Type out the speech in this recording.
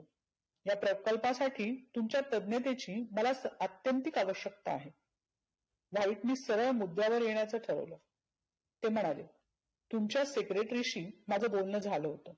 या प्रकल्पासाठी तुमच्या तज्ञतेची मला अत्यंतीक अवश्यकता आहे. व्हाईटनी सरळ मुद्द्यावर येण्याचं ठरवलं. ते म्हणाले तुमच्या secretary शी माझं बोलनं झालं होतं.